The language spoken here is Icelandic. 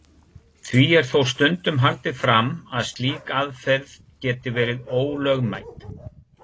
Því er þó stundum haldið fram að slík aðferð geti verið ólögmæt.